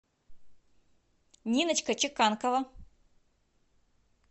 ниночка чеканкова